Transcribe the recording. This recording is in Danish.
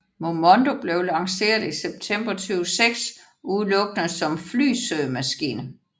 Momondo blev lanceret i september 2006 udelukkende som flysøgemaskine